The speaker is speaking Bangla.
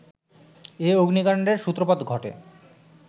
এ অগ্নিকাণ্ডের সূত্রপাত ঘটে